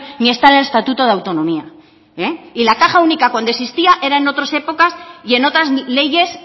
ni está en el estatuto de autonomía y la caja única cuando existía eran en otras épocas y en otras leyes